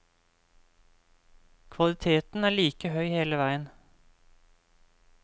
Kvaliteten er like høy hele veien.